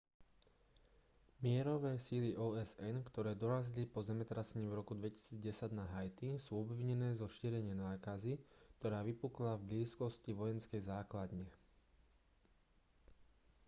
mierové sily osn ktoré dorazili po zemetrasení v roku 2010 na haiti sú obvinené zo šírenia nákazy ktorá vypukla v blízkosti vojenskej základne